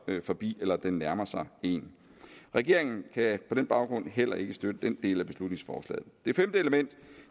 forbi eller den nærmer sig en regeringen kan på den baggrund heller ikke støtte den del af beslutningsforslaget